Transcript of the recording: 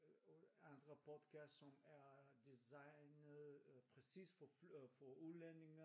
Og andre podcast som er designet præcis for udlændinge